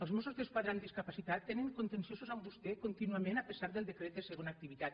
els mossos d’esquadra amb discapacitat tenen conten·ciosos amb vostè contínuament a pesar del decret de segona activitat